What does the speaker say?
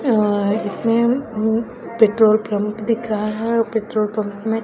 अ इसमें उम्म petrol pump दिख रहा है पेट्रोल पम्प में--